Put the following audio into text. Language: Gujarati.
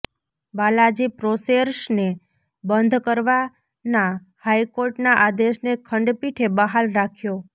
બાલાજી પ્રોસેર્સને બંધ કરવાના હાઈકોર્ટના આદેશને ખંડપીઠે બહાલ રાખ્યો